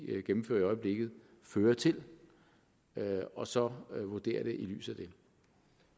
gennemfører i øjeblikket fører til og så vurdere det i lyset